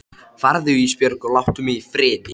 Og erum þá loksins komnar að Salóme.